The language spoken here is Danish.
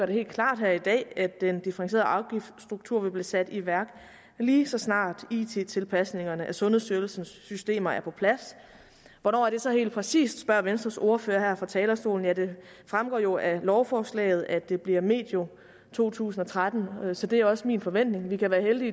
det helt klart her i dag at den differentierede afgiftsstruktur vil blive sat i værk lige så snart it tilpasningerne af sundhedsstyrelsens systemer er på plads hvornår er det så helt præcis spørger venstres ordfører her fra talerstolen ja det fremgår jo af lovforslaget at det bliver medio to tusind og tretten så det er også min forventning vi kan være heldige